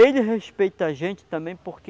Ele respeita a gente também porque